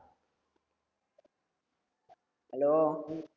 hello